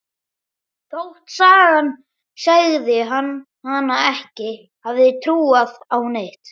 Þótt sagan segði hana ekki hafa trúað á neitt.